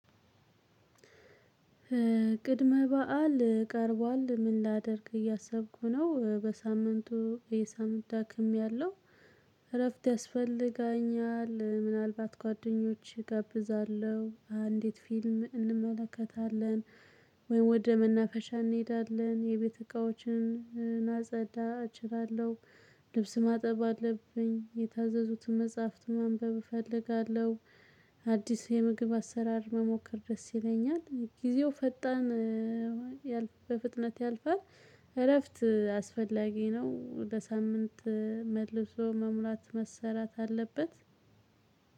ቅድመ በዓል ቀርቧል ምን ላደርግ እያሰብኩ ነው በሳምንቱ እሄ ሳምንት ደክሜያለሁ። እረፍት ያስፈልጋኛል ምናልባት ጓደኞች እጋብዛለሁ አንዲት ፊልም እንመለከታለን። ወይ ወደ መናፈሻ እንሄዳለን የቤት እቃዎችን እናጸዳ እችላለሁ። ልብስ ማጠብ አለብኝ የታዘዙትን መጽሐፍት ማንበብ እፈልጋለሁ። አዲስ የምግብ አሰራር መሞከር ደስ ይለኛል። ጊዜው ፈጣን በፍጥነት ያልፋል። እረፍት አስፈላጊ ነው። በሳምንት መልሶ መሙላት መሰራት አለበት።